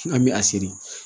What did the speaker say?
An bɛ a seri